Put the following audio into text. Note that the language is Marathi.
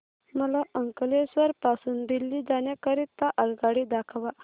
मला अंकलेश्वर पासून दिल्ली जाण्या करीता आगगाडी दाखवा